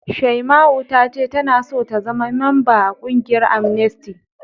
Shaima'u ta ce tana so ta zama mamba a ƙungiyar Amnesty.